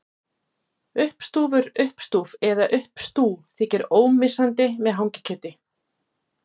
Uppstúfur, uppstúf eða uppstú þykir ómissandi með hangikjöti.